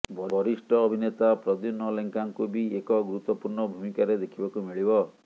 ବରିଷ୍ଠ ଅଭିନେତା ପ୍ରଦ୍ୟୁମ୍ନ ଲେଙ୍କାଙ୍କୁ ବି ଏକ ଗୁରୁତ୍ୱପୂର୍ଣ୍ଣ ଭୂମିକାରେ ଦେଖିବାକୁ ମିଳିବ